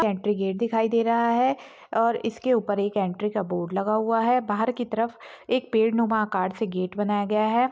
Entry gate दिखाई दे रहा है और इसके ऊपर एंट्री का बोर्ड लगा हुआ है बाहर की तरफ एक पेड़ नुमा आकार से गेट बनाया गया है ।